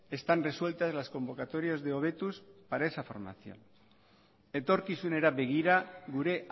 están resueltas las convocatorias de hobetuz para esa formación etorkizunera begira gure